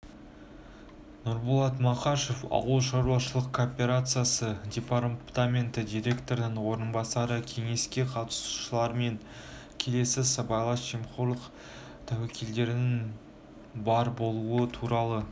нұрболат мақашев ауыл шаруашылық кооперациясы департаменті директорының орынбасары кеңеске қатысушылармен келесі сыбайлас жемқорлық тәуекелдерініңбар болуы туралы